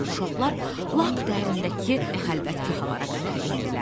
Uşaqlar lap dərindəki xəlvət kahalara qədər endilər.